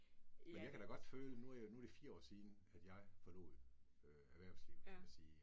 Men jeg kan da godt føle, nu er jeg nu er det 4 år siden, at jeg forlod erhvervslivet, kan man sige